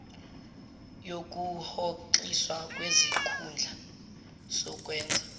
yokuhoxiswa kwesikhundla sokwenza